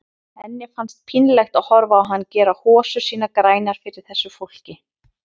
Henni fannst pínlegt að horfa á hann gera hosur sínar grænar fyrir þessu fólki.